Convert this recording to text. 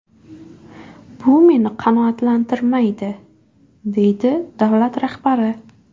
Bu meni qanoatlantirmaydi”, deydi davlat rahbari.